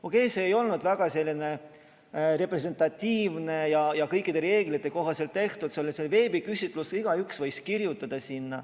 Okei, see ei olnud kuigi representatiivne ja kõikide reeglite kohaselt tehtud, see oli veebiküsitlus ja igaüks võiks sinna kirjutada.